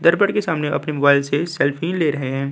दरपद के सामने अपने मोबाइल से सेल्फी ले रहें हैं।